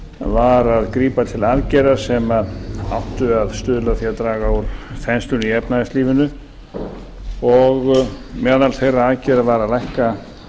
var að grípa til aðgerða sem áttu að stuðla að því að draga úr þenslunni í efnahagslífinu og meðal annars þeirra aðgerða var að lækka